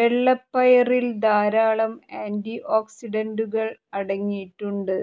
വെള്ളപ്പയറിൽ ധാരാളം ആന്റി ഓക്സിഡന്റുകൾ അടങ്ങിയിട്ടുണ്ട്